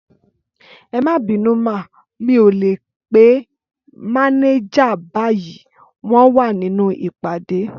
Ẹmabinu má, mi ò lè pé mànéjà báyìí, wọn wá nínú ìpàdé